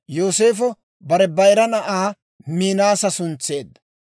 Yooseefo bare bayira na'aa Minaasa suntseedda.